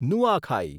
Nuakhai